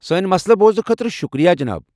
سٲنۍ مسلہٕ بوزنہٕ خٲطرٕ شکریہ، جناب۔